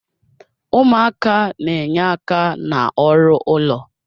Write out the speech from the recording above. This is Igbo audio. Ụmụaka na-enye aka n'ọrụ ụlọ.